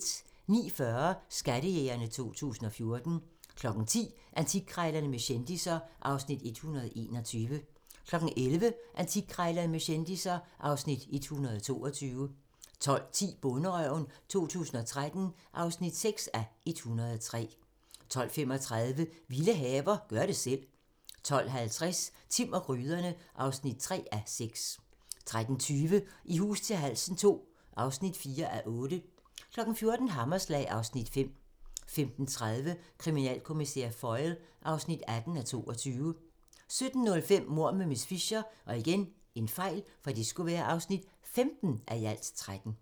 09:40: Skattejægerne 2014 10:00: Antikkrejlerne med kendisser (Afs. 121) 11:00: Antikkrejlerne med kendisser (Afs. 122) 12:10: Bonderøven 2013 (6:103) 12:35: Vilde haver - gør det selv 12:50: Timm og gryderne (3:6) 13:20: I hus til halsen II (4:8) 14:00: Hammerslag (Afs. 5) 15:30: Kriminalkommissær Foyle (18:22) 17:05: Mord med miss Fisher (15:13)